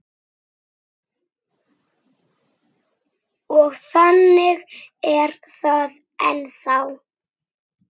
Og þannig er það ennþá.